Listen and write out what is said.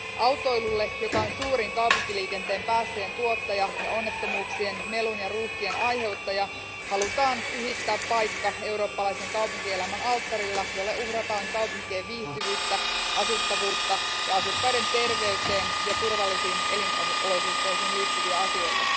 Autoilulle, joka on suurin kaupunkiliikenteen päästöjen tuottaja ja onnettomuuksien, melun ja ruuhkien aiheuttaja, halutaan pyhittää paikka eurooppalaisen kaupunkielämän alttarilla, jolle uhrataan kaupunkien viihtyvyyttä, asuttavuutta ja asukkaiden terveyteen ja turvallisiin elinolosuhteisiin liittyviä asioita.